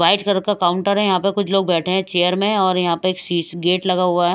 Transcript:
White colour का counter है यहां पे कुछ लोग बैठे हैं चेयर में और यहां पे एक शीश गेट लगा हुआ है।